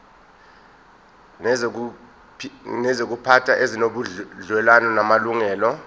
nezokuziphatha ezinobudlelwano namalungelo